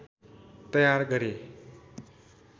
तयार गरे